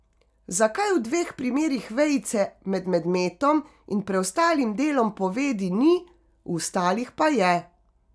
Zakaj v dveh primerih vejice med medmetom in preostalim delom povedi ni, v ostalih pa je?